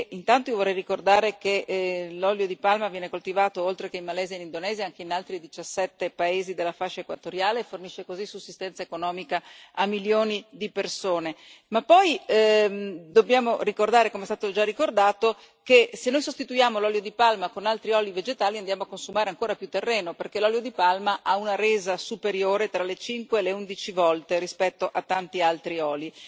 Intanto io vorrei ricordare che l'olio di palma viene coltivato oltre che in Malesia e in Indonesia anche in altri 17 paesi della fascia equatoriale, e fornisce così sussistenza economica a milioni di persone. Poi dobbiamo ricordare come è stato già ricordato che se noi sostituiamo l'olio di palma con altri oli vegetali andiamo a consumare ancora più terreno, perché l'olio di palma ha una resa superiore tra le cinque e le undici volte rispetto a tanti altri oli.